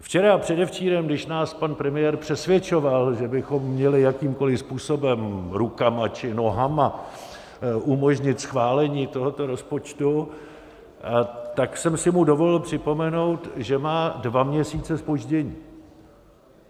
Včera a předevčírem, když nás pan premiér přesvědčoval, že bychom měli jakýmkoliv způsobem, rukama či nohama, umožnit schválení tohoto rozpočtu, tak jsem si mu dovolil připomenout, že má dva měsíce zpoždění.